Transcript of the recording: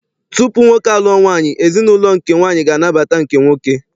Tupu nwoke a lụọ nwaanyị, ezinaụlọ nke nwaanyị ga anabata nke nwoke.